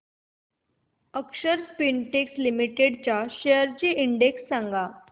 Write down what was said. अक्षर Spintex limited shares चा index सांगा